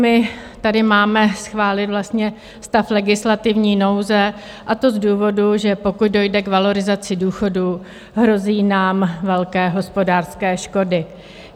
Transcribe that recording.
My tady máme schválit vlastně stav legislativní nouze, a to z důvodu, že pokud dojde k valorizaci důchodů, hrozí nám velké hospodářské škody.